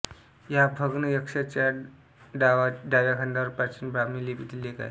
या भग्न यक्षाच्या डाव्या खांद्यावर प्राचीन ब्राह्मी लिपीतील लेख आहे